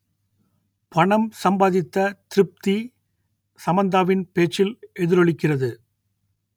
பணம் சம்பாதித்த திருப்தி சமந்தாவின் பேச்சில் எதிரொலிக்கிறது